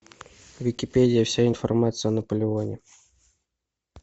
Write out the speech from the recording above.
википедия вся информация о наполеоне